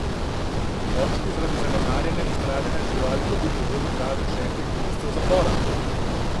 Moški je zaradi zanemarjanja in stradanja živali dobil pogojno kazen šestih mesecev zapora.